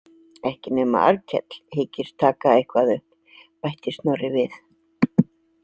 Ekki nema Arnkell hyggist taka eitthvað upp, bætti Snorri við.